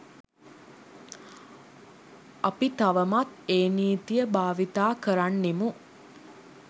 අපි තවමත් ඒ නීතිය භාවිතා කරන්නෙමු.